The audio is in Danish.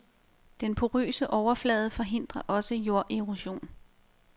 Den porøse overflade forhindrer også jorderosion.